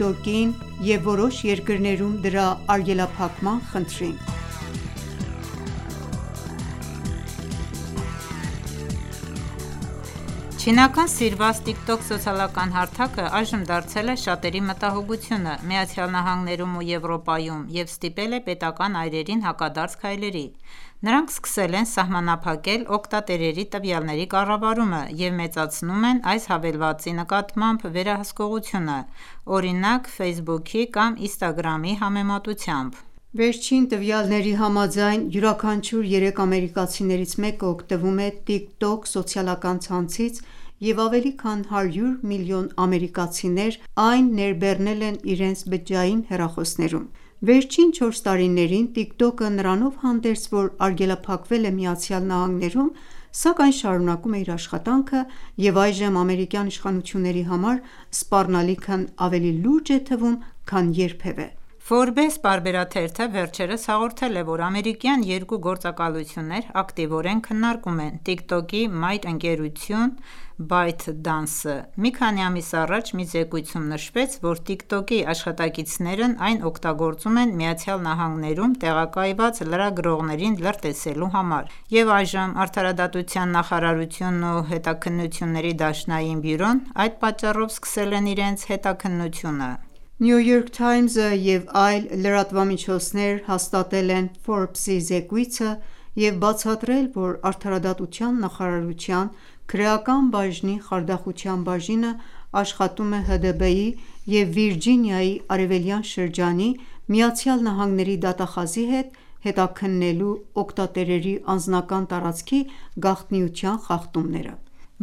Tok-ին և որոշ երկրներում դրա արգելափակման խնդրին Չինական սիրված Tik Tok սոցիալական հարթակը, այժմ դարձել է շատերի մտահոգությունը ԱՄՆ-ում և Եվրոպայում և ստիպել է պետական այրերին հակադարձ քայլերի:Նրանք սկսել են սահմանափակել օգտատերերի տվյալների կառավարումը և մեծացնում են այս հավելվածի նկատմամբ վերահսկողությունը, օրինակ՝ Facebook-ի կամ Instagram-ի համեմատությամբ: Վերջին տվյալների համաձայն՝ յուրաքանչյուր երեք ամերիկացիներից մեկը օգտվում է «Tik Tok» սոցիալական ցանցից, և ավելի քան հարյուր միլիոն ամերիկացիներ այն ներբեռնել են իրենց բջջային հեռախոսներում։ Վերջին չորս տարիներին Tik Tok-ը նրանով հանդերձ, որ արգելափակվել է ԱՄՆ-ում ,սակայն շարունակում է իր աշխատանքը և այժմ ամերիկյան իշխանությունների համար սպառնալիքն ավելի լուրջ է թվում, քան երբևէ։ Forbes-պարբերաթերթը վերջերս հաղորդել է, որ ամերիկյան երկու գործակալություններ ակտիվորեն քննարկում են ,Tik Tok-ի մայր ընկերություն ՝ByteDance-ը ։ Մի քանի ամիս առաջ մի զեկույցում նշվեց, որ Tik Tok-ի աշխատակիցներն այն օգտագործում են ԱՄՆ-ում տեղակայված լրագրողներին լրտեսելու համար, և այժմ Արդարադատության նախարարությունն ու ՀԴԲ-ն( FBI) այդ պատճառով սկսել են իրենց հետաքննությունը։ New York Times-ը և այլ լրատվամիջոցներ հաստատել են Forbes-ի զեկույցը և բացատրել, որ Արդարադատության նախարարության Քրեական բաժնի խարդախության բաժինը աշխատում է ՀԴԲ-ի և Վիրջինիայի Արևելյան շրջանի ԱՄՆ-ի դատախազի հետ՝ հետաքննելու օգտատերերի անձնական տարածքի գաղտնիության խախտումները: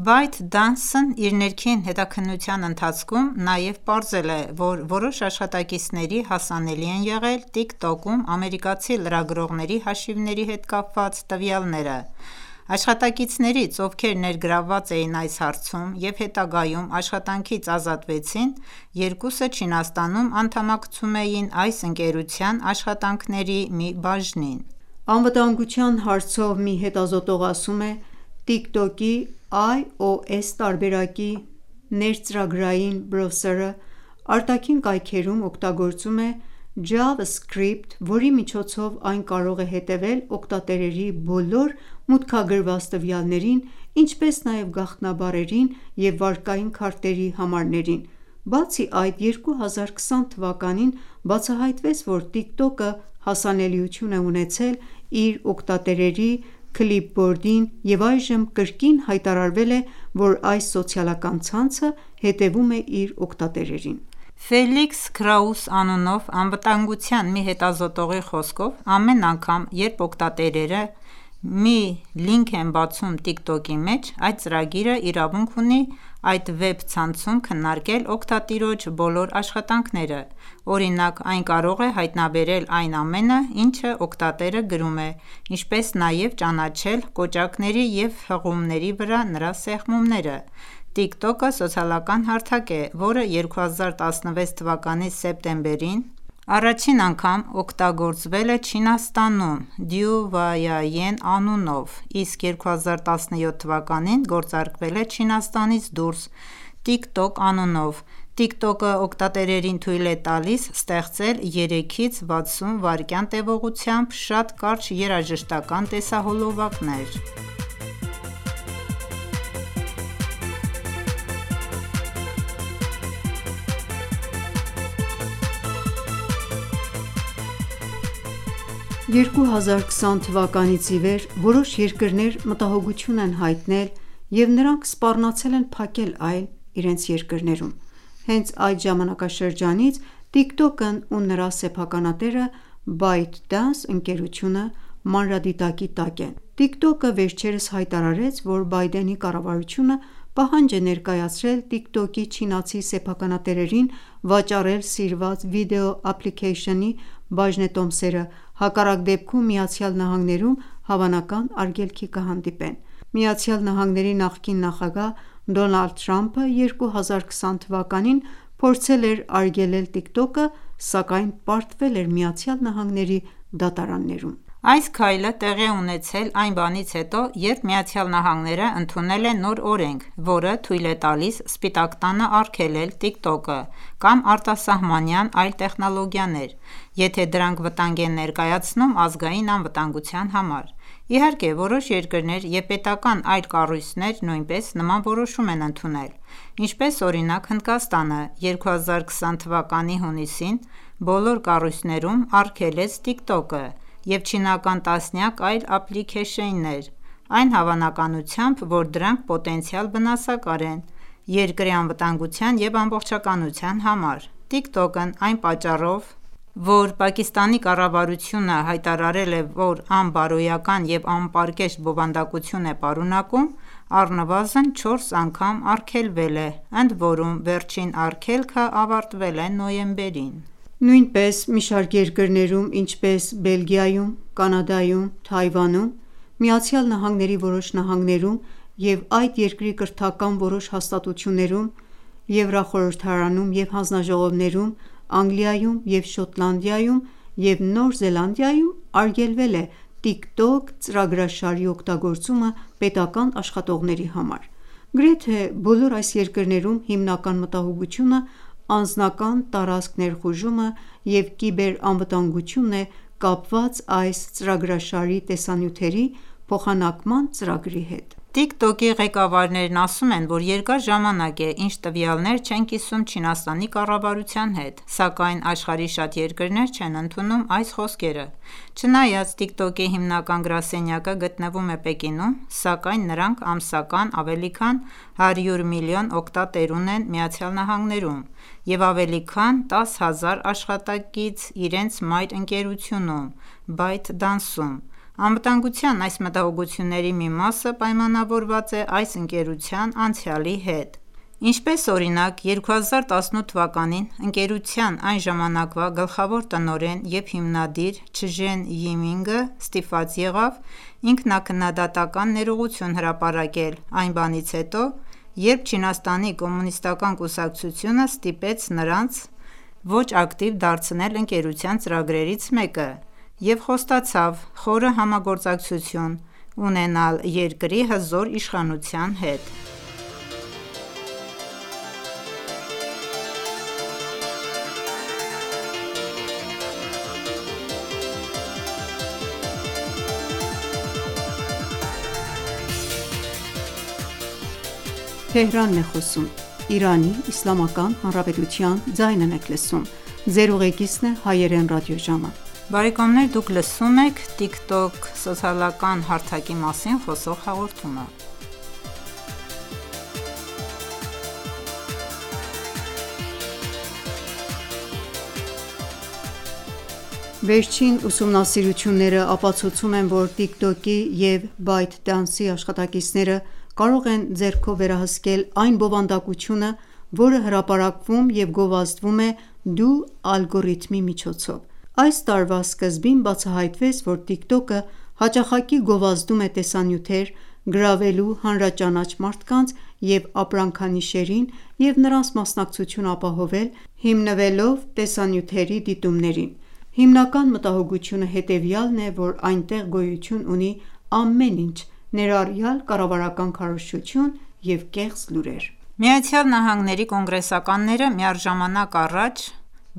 ByteDance-ն իր ներքին հետաքննության ընթացքում նաև պարզել է, որ որոշ աշխատակիցների հասանելի են եղել Tik Tok-ում ամերիկացի լրագրողների հաշիվների հետ կապված տվյալները։ Աշխատակիցներից, ովքեր ներգրավված էին այս հարցում և հետագայում աշխատանքից ազատվեցին, երկուսը Չինաստանում անդամակցում էին այս ընկերության աշխատանքների մի բաժնին: Անվտանգության հարցով մի հետազոտող ասում է. «Tik Tok-ի, iOS տարբերակի ներծրագրային բրոսըրը արտաքին կայքերում օգտագործում է JavaScript, որի միջոցով այն կարող է հետևել օգտատերերի բոլոր մուտքագրված տվյալներին, ինչպես նաև գաղտնաբառերին և վարկային քարտերի համարներին: Բացի այդ, 2020 թվականին բացահայտվեց, որ Tik Tok-ը հասանելիություն է ունեցել իր օգտատերերի clipboard-ին և այժմ կրկին հայտարարվել է,որ այս սոցիալական ցանցը հետևում է իր օգտատերերին: Ֆելիքս Քրաուս անունով անվտանգորթյան մի հետազոտողի խոսքով՝ամեն անգամ երբ օգտատերերը մի լինք են բացում Tik Tok-ի մեջ ,այդ ծրագիրը իրավունք ունի այդ վեբ ցանցում քննարկել օգտատիրոջ բոլոր աշխատանքները: Օրինակ, այն կարող է հայտնաբերել այն ամենը, ինչը օգտատերը գրում է, ինչպես նաև ճանաչել կոճակների և հղումների վրա նրա սեղմումները: Tik Tok-ը սոցիալական հարթակ է, որը 2016 թվականի սեպտեմբերին, առաջին անգամ գործարկվել է Չինաստանում Duyin (抖音) անունով, իսկ 2017 թվականին գործարկվել է Չինաստանից դուրս, Tik Tok անունով:TikTok-ը օգտատերերին թույլ է տալիս ստեղծել 3-ից 60 վայրկյան տևողությամբ շատ կարճ երաժշտական տեսահոլովակներ: 2020 թվականից ի վեր որոշ երկրներ մտահոգություններ են հայտնել, և նրանք սպառնացել են փակել այն, իրենց երկրներում: Հենց այդ ժամանակաշրջանից TikTok-ն ու նրա սեփականատերը՝ ByteDance-ընկերությունը, մանրադիտակի տակ են ։ TikTok-ը վերջերս հայտարարեց, որ Բայդենի կառավարությունը պահանջ է ներկայացրել TikTok-ի չինացի սեփականատերերին, վաճառել սիրված վիդեո ափլիքեյշնի բաժնետոմսերը, հակառակ դեպքում ,ԱՄՆ-ում հավանական արգելքի կհանդիպեն: ԱՄՆ –ի նախկին նախագահ Դոնալդ Թրամփը 2020 թվականին փորձել էր արգելել TikTok-ը, սակայն պարտվել էր ԱՄՆ-ի դատարաններում։ Այս քայլը տեղի է ունեցել այն բանից հետո, երբ ԱՄՆ-ն ընդունել է նոր օրենք, որը թույլ է տալիս Սպիտակ տանը արգելել TikTok-ը կամ արտասահմանյան այլ տեխնոլոգիանեը, եթե դրանք վտանգ են ներկայացնում ազգային անվտանգության համար: Իհարկե, որոշ երկրներ և պետական այլ կառույցներ նույնպես նման որոշում են ընդունել: Ինչպես օրինակ Հնդկաստանը, 2020 թվականի հունիսին բոլոր կառույցներում արգելեց TikTok-ը և չինական տասնյակ այլ Ափլիքեյշններ ,այն հավակնությամբ, որ դրանք պոտենցիալ վնասակար են երկրի անվտանգության և ամբողջականության համար: TikTok-ն, այն պատճառով, որ Պակիստանի կառավարությունը հայտարարել է, որ անբարոյական և անպարկեշտ բովանդակություն է պարունակում, առնվազն չորս անգամ արգելվել է, ընդ որում վերջին արգելքը ավարտվել է նոյեմբերին: Նույնպես մի շարք երկրներում ,ինչպես՝ Բելգիայում, Կանադայում, Թայվանում, ԱՄՆ-ի որոշ նահանգներում և այդ երկրի կրթական որոշ հաստատություններում, Եվրո խորհրդարանում և հանձնաժողովներում, Անգլիայում և Շոտլանդիայում և Նոր Զելանդիայում, արգելված է Tik Tok ծրագրաշարի օգտագործումը պետական աշխատողների համար:Գրեթե բոլոր այս երկրներում հիմնական մտահոգությունը ՝անձնական տարածք ներխուժումը և կիբեր անվտանգությունն է կապված ՝այս ծրագրաշարի տեսանյութերի փոխանակման ծրագրի հետ: Tik Tok-ի ղեկավարներն ասում են, որ երկար ժամանակ է, ինչ տվյալներ չեն կիսում Չինաստանի կառավարության հետ, սակայն աշխարհի շատ երկրներ չեն ընդունում այս խոսքերը։ Չնայած Tik Tok-ի հիմնական գրասենյակը գտնվում է Պեկինում, սակայն նրանք ամսական ավելի քան 100 միլիոն օգտատեր ունեն ԱՄՆ-ում, և ավելի քան 10,000 աշխատակից իրենց մայր ընկերությունում՝ ByteDance-ում: Անվտանգության այս մտահոգությունների մի մասը պայմանավորված է այս ընկերության անցյալի հետ: Ինչպես օրինակ՝ 2018 թվականին, ընկերության այն ժամանակվա գլխավոր տնօրեն և հիմնադիր Չժեն Յիմինգը ստիպված եղավ ինքնաքննադատական ներողություն հրապարակել այն բանից հետո, երբ Չինաստանի Կոմունիստական կուսակցությունը ստիպեց նրանց ոչ ակտիվ դարձնել ընկերության ծրագրերից մեկը և խոստացավ «խորը համագործակցություն» ունենալ երկրի հզոր իշխանության հետ։ Վերջին ուսումնասիրությունները ապացուցում են, որ Tik Tok-ի և ByteDance-ի աշխատակիցները կարող են ձեռքով վերահսկել այն բովանդակությունը, որը հրապարակվում և գովազդվում է «դու» ալգորիթմի միջոցով: Այս տարվա սկզբին բացահայտվեց, որ TikTok-ը հաճախակի գովազդում է տեսանյութեր՝ գրավելու հանրաճանաչ մարդկանց և ապրանքանիշերին և նրանց մասնակցությունը ապահովել ,հիմնվելով տեսանյութերի դիտումներին: Հիմնական մտահոգությունը հետևյալն է, որ այնտեղ գոյություն ունի ամեն ինչ, ներառյալ կառավարական քարոզչություն և կեղծ լուրեր: ԱՄՆ-ի կոնգրեսականները միառժամանակ առաջ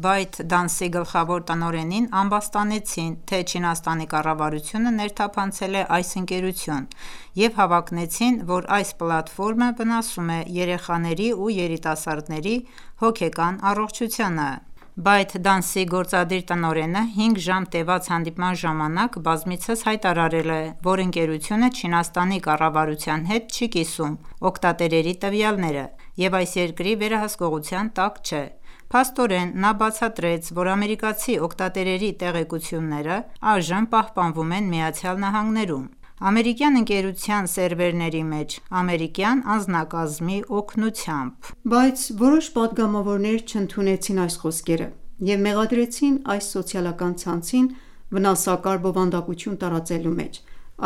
ByteDance-ի գլխավոր տնօրենին ամբաստանեցին թե՝Չինաստանի կառավարությունը ներթափանցել է այս ընկերություն և հավակնեցին ,որ այս պլատֆորմը վնասում է երեխաների ու երիտասարդների հոգեկան առողջությանը: Bytedance-ի գործադիր տնօրենը հինգ ժամ տևած հանդիպման ժամանակ բազմիցս հայտարարել է, որ ընկերությունը Չինաստանի կառավարության հետ չի կիսում օգտատերերի տվյալները և այս երկրի վերահսկողության տակ չէ: Փաստորեն, նա բացատրեց, որ ամերիկացի օգտատերերի տեղեկությունները այժմ պահպանվում են ԱՄՆ-ում, ամերիկյան ընկերության սերվերների մեջ՝ ամերիկյան անձնակազմի օգնությամբ։ Բայց որոշ պատգամավորներ չընդունեցին այս խոսքերը և մեղադրեցին այս սոցիալական ցանցին վնասակար բովանդակություն տարածելու մեջ,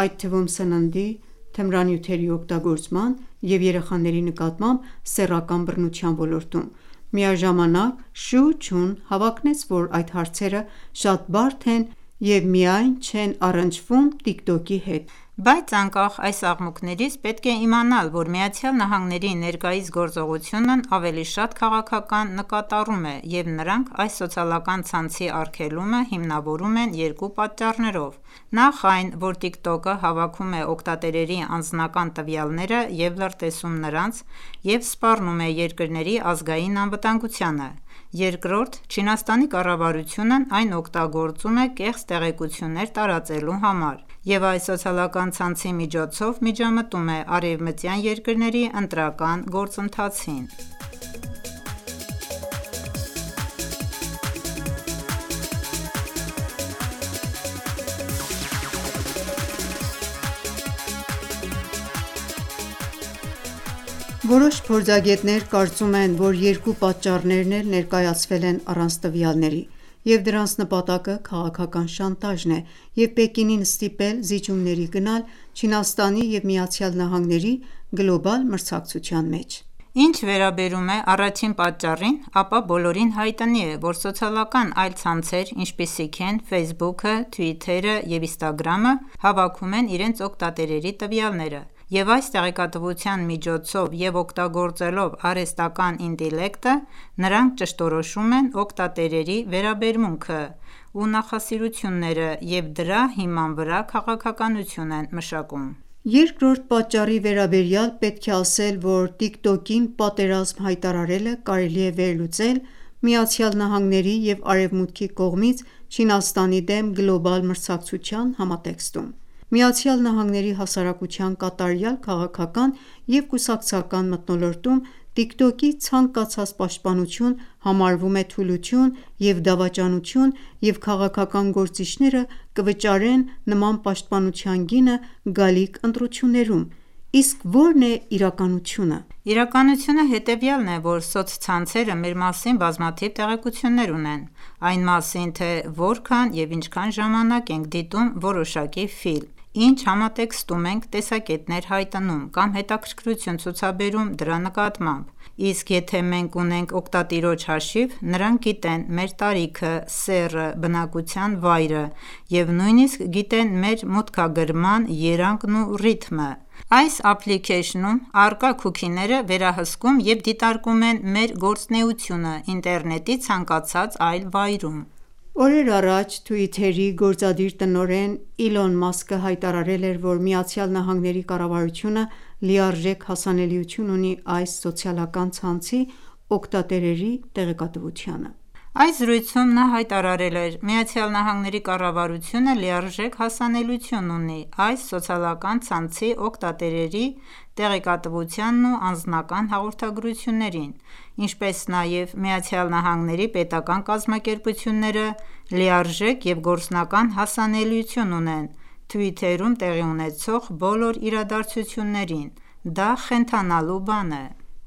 այդ թվում՝ սննդի, թմրանյութերի օգտագործման և երեխաների նկատմամբ սեռական բռնության ոլորտում։ Միաժամանակ «Շու Չուն» հավակնեց, որ այդ հարցերը շատ բարդ են և միայն չեն առնչվում Tik Tok-ի հետ։ Բայց անկախ այս աղմուկներից, պետք է իմանալ, որ ԱՄՆ-ի ներկայիս գործողությունն ավելի շատ քաղաքական նկատառում է, և նրանք այս սոցիալական ցանցի արգելումը հիմնավորում են երկու պատճառներով: Նախ, այն ,որ Tik Tok-ը հավաքում է օգտատերերի անձնական տվյալները և լրտեսում նրանց և սպառնում է երկրների ազգային անվտանգությանը։ Երկրորդ՝ Չինաստանի կառավարությունն այն օգտագործում է կեղծ տեղեկություններ տարածելու համար և այս սոցիալական ցանցի միջոցով միջամտում է արևմտյան երկրների ընտրական գործընթացին։ Որոշ փորձագետներ կարծում են, որ երկու պատճառներն էլ ներկայացվել են առանց տվյալների և դրանց նպատակը ՝քաղաքական շանտաժն է և Պեկինին ստիպել, զիջումների գնալ Չինաստանի և ԱՄՆ-ի գլոբալ մրցակցության մեջ։ Ինչ վերաբերում է առաջին պատճառին, ապա բոլորին հայտնի է, որ սոցիալական այլ ցանցեր, ինչպիսիք են՝ «Facebook»-ը, «Twitter»-ը և «Instagram»-ը, հավաքում են իրենց օգտատերերի տվյալները, և այս տեղեկատվության միջոցով և օգտագործելով արհեստական ինտելեկտը, նրանք ճշտորոշում են օգտատերերի վերաբերմունքը ու նախասիրությունները և դրա հիման վրա քաղաքականություն են մշակում։ Երկրորդ պատճառի վերաբերյալ պետք է ասել, որ «TikTok»-ին պատերազմ հայտարարելը կարելի է վերլուծել ԱՄՆ-ի և Արևմուտքի կողմից Չինաստանի դեմ գլոբալ մրցակցության համատեքստում։ ԱՄՆ-ի հասարակության կատարյալ քաղաքական և կուսակցական մթնոլորտում, «TikTok»-ի ցանկացած պաշտպանություն համարվում է թուլություն և դավաճանություն, և քաղաքական գործիչները կվճարեն նման պաշտպանության գինը գալիք ընտրություններում։ Իսկ ո՞րն է իրականությունը Իրականությունը հետևյալն է ,որ սոցցանցերը մեր մասին բազմաթիվ տեղեկություններ ունեն: Այն մասին թե՝որքա՞ն և ինչքան ժամանակ ենք դիտում որոշակի ֆիլմ, ի՞նչ համատեքստում ենք տեսակետներ հայտնում կամ հետաքրքրություն ցուցաբերում դրա նկատմամբ, իսկ եթե մենք ունենք օգտատիրոջ հաշիվ, նրանք գիտեն մեր տարիքը, սեռը, բնակության վայրը, և նույնիսկ գիտեն մեր մուտքագրման երանգն ու ռիթմը։ Այս Ափլիքեյշնում առկա qուքիները վերահսկում և դիտարկում են մեր գործունեությունը ինտերնետի ցանկացած այլ վայրում: Օրեր առաջ Twitter-ի գործադիր տնօրեն Իլոն Մասկը հայտարարել էր, որ ԱՄՆ կառավարությունը «լիարժեք հասանելիություն» ունի այս սոցիալական ցանցի օգտատերերի տեղեկատվությանը։ Այս զրույցում նա հայտարարել էր. «ԱՄՆ-ի կառավարությունը լիարժեք հասանելիություն ունի այս սոցիալական ցանցի օգտատերերի տեղեկատվությանն ու անձնական հաղորդագրություններին, ինչպես նաև ԱՄՆ-ի պետական կազմակերպությունները լիարժեք և գործնական հասանելիություն ունեն Twitter-ում տեղի ունեցող բոլոր իրադարձություններին, դա խենթանալու բան է»: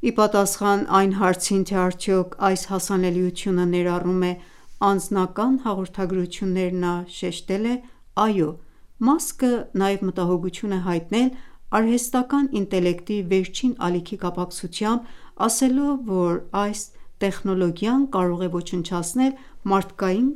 Իպատասխան այն հարցին, թե՝ արդյո՞ք այս հասանելիությունը ներառում է անձնական (ուղիղ) հաղորդագրություններ՞, նա շեշտեց.«Այօ»: Մասկը նաև մտահոգություն է հայտնել արհեստական ինտելեկտի վերջին ալիքի կապակցությամբ՝ ասելով, որ այս տեխնոլոգիան կարող է ոչնչացնել մարդկային